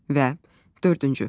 və dördüncü.